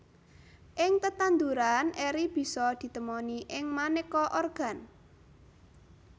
Ing tetanduran eri bisa ditemoni ing manéka organ